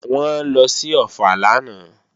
Wọ́n lọ sí Ọ̀ffà lánàá